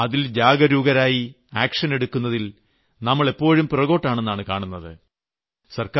എന്നാൽ അതിൽ ജാഗരൂകരായി നടപടിയെടുക്കുന്നതിൽ നമ്മൾ എപ്പോഴും പുറകോട്ടാണെന്നാണ് കാണുന്നത്